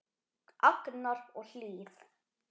Agnar og Hlíf.